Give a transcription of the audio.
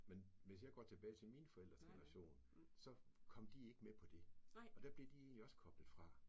Men hvis jeg går tilbage til mine forældres generation så kom de ikke med på det og der blev de egentlig også koblet fra